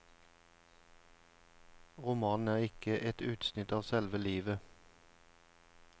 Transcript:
Romanen er ikke et utsnitt av selve livet.